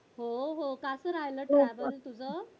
हो हो कस राहायल travelling तुझं